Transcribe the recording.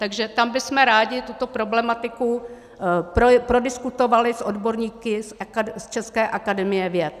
Takže tam bychom rádi tuto problematiku prodiskutovali s odborníky z České akademie věd.